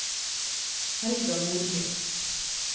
Helga Nordby